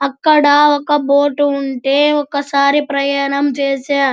అక్కడ బోటు ఉంటె ఒకసారి ప్రయాణం చేశా.